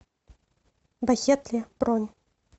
бахетле бронь